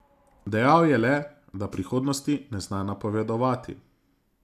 Dejal je le, da prihodnosti ne zna napovedovati.